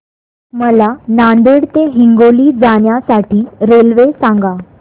मला नांदेड ते हिंगोली जाण्या साठी रेल्वे सांगा